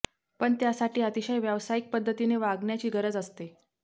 पण त्यासाठी अतिशय व्यावसायिक पद्धतीने वागण्याची गरज असते